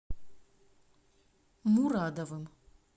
мурадовым